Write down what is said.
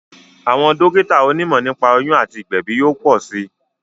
Àwọn dókítà oní mọ̀ nípa oyún àti ìgbèbí yóò pọ̀ sí